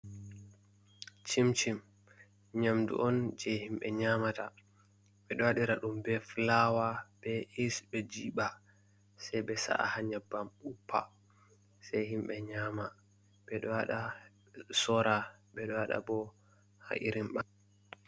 Chimcim nyamdu on je himɓe nyamata, ɓeɗo waɗira ɗum be fulawa, be is. Ɓe jiɓa sei ɓe sa’a ha nyabbam uppa sei himbe nyama, ɓe ɗo waɗa sora ɓe ɗo waɗa bo ha irin ba.